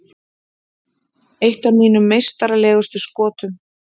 Eitt af mínum meistaralegustu skotum.